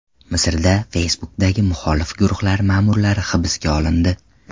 Misrda Facebook’dagi muxolif guruhlar ma’murlari hibsga olindi.